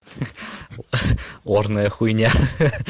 ха-ха орная хуйня